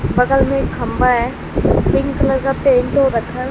बगल में एक खंभा है पिंक कलर का पेंट हो रखा--